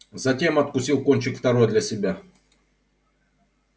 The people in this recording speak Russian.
затем откусил кончик второй для себя